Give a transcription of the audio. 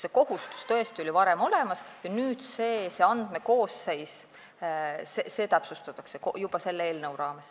See kohustus oli tõesti juba varem olemas ja nüüd seda andmekoosseisu selle eelnõu raames täpsustatakse.